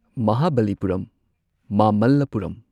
ꯃꯍꯥꯕꯂꯤꯄꯨꯔꯝ ꯃꯃꯜꯂꯥꯄꯨꯔꯝ